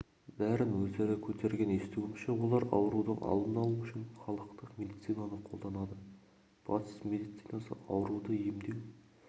бәрін өздері көтерген естуімше олар аурудың алдын алу үшін халықтық медицинаны қолданады батыс медицинасы ауруды емдеу